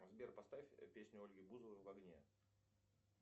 сбер поставь песню ольги бузовой в огне